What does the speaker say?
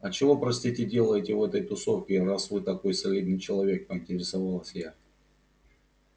а чего простите делаете в этой тусовке раз вы такой солидный человек поинтересовалась я